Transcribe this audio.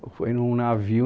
Foi num navio